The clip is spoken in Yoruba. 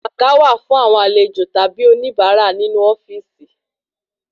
Àga wà fún àwọn àlejò tàbí oní bara ninu ofíìsì